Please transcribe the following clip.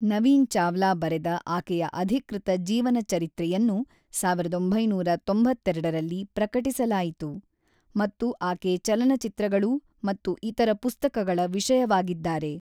ನವೀನ್ ಚಾವ್ಲಾ ಬರೆದ ಆಕೆಯ ಅಧಿಕೃತ ಜೀವನಚರಿತ್ರೆಯನ್ನು ಸಾವಿರದಒಂಬೈನೂರ ತೊಂಬತ್ತೆರಡರಲ್ಲಿ ಪ್ರಕಟಿಸಲಾಯಿತು, ಮತ್ತು ಆಕೆ ಚಲನಚಿತ್ರಗಳು ಮತ್ತು ಇತರ ಪುಸ್ತಕಗಳ ವಿಷಯವಾಗಿದ್ದಾರೆ.